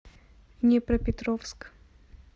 днепропетровск